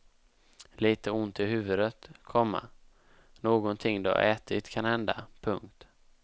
Litet ont i huvudet, komma nånting du har ätit kanhända. punkt